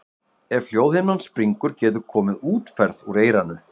Ef hljóðhimnan springur getur komið útferð úr eyranu.